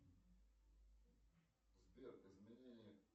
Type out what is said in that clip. сбер изменения